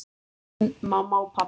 Þín mamma og pabbi.